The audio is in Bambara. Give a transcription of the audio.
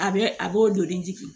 A bɛ a b'o joli